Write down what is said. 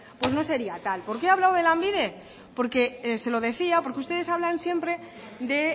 no sería tal por qué ha hablado de lanbide porque se lo decía porque ustedes hablan siempre de